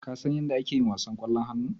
Kasan yadda ake yin wasan ƙwallon hannu?